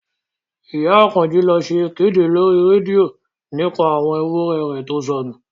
Ìyá Àkànjí lọ ṣe ìkéde lórí rédíò nípa àwọn ewúrẹ̀ rẹ̀ tó sọnù